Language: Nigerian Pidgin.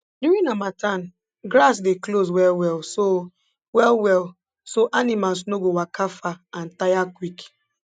during harmattan grass dey close wellwell so wellwell so animals no go waka far and tire quick